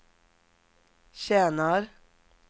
tjänar